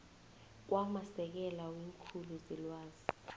kwamasekela weenkhulu zelwazi